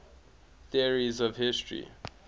theories of history